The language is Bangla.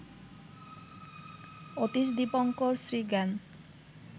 অতীশ দীপঙ্কর শ্রীজ্ঞান